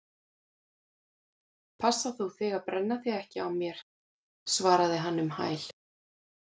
Passa þú þig að brenna þig ekki á mér- svaraði hann um hæl.